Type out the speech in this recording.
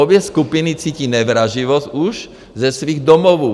Obě skupiny cítí nevraživost už ze svých domovů.